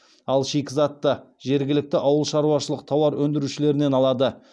ал шикізатты жергілікті ауылшаруашылық тауар өндірушілерінен алады